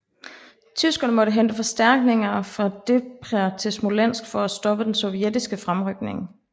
Tyskerne måtte hente forstærknigner fra Dnepr til Smolensk for at stoppe den sovjetiske fremrykning